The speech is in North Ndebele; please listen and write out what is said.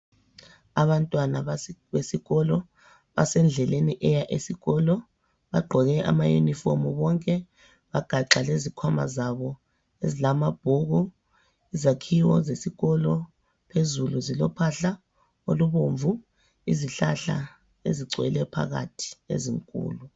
Abantwana besikolo basendleleni eya esikolo, bagqoke ama yunifomu bonke, bagaxa lezikhwama zabo ezilamabhuku, izakhiwo zesikolo phezulu zilophahla olubomvu, izihlahla ezigcwele phakathi ezinkulu.